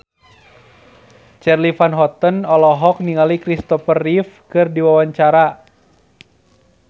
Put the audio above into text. Charly Van Houten olohok ningali Christopher Reeve keur diwawancara